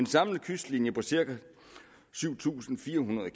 samlet kystlinje på cirka syv tusind fire hundrede